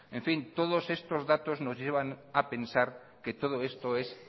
en fin todos estos datos nos llevan a pensar que todo esto es